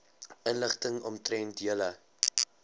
inligting omtrent julle